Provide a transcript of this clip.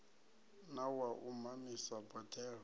na wa u mamisa boḓelo